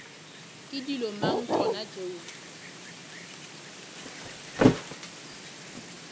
ke dilo mang tšona tšeo